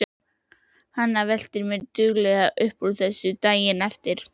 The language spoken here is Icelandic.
Hanna veltir mér duglega upp úr þessu daginn eftir.